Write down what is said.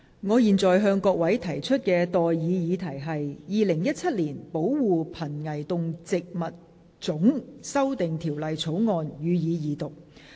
我現在向各位提出的待議議題是：《2017年保護瀕危動植物物種條例草案》予以二讀。